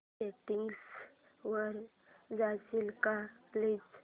settings वर जाशील का प्लीज